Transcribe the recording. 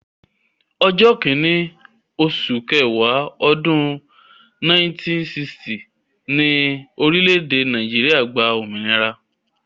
Ọjọ́ kìíní oṣù ọ̀wàrà, ọdún 1960 ni orílẹ̀-èdè Nàìjíríà gba òmìnira